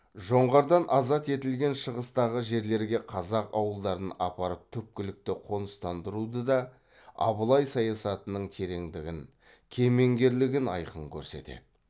жоңғардан азат етілген шығыстағы жерлерге қазақ ауылдарын апарып түпкілікті қоныстандыруды да абылай саясатының тереңдігін кемеңгерлігін айқын көрсетеді